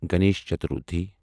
Ganesh Chaturthi